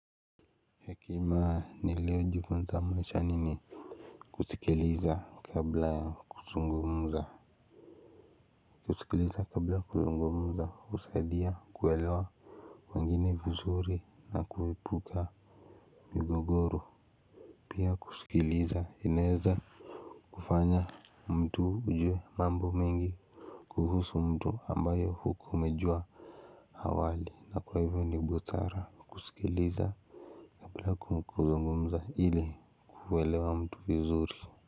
Hekima nilio jifunza maishani ni kusikiliza kabla ya kuzungumza husaidia kuelewa wngine vizuri na kuepuka migogoro. Pia kusikiliza inaeza kufanya mtu ujue mambo mengi. Kuhusu mtu ambayo hukuwa umejua awali na kwa hivo ni busara kusikiliza kabla ya kuzungumza ili kuelewa mtu vizuri.